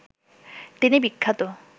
তিনি বিখ্যাত